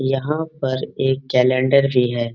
यहाँ पर एक कैलंडर भी है।